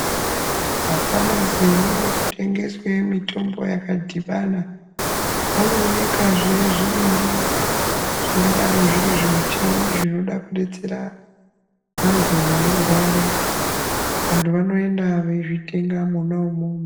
Mumafamasi munotengeswa mitombo yakadhibana munoonekwazve zvimuchini zvingadai zvinodetsera vantu vanorwara vantu vanoenda veizvitenga mwona imwomwo.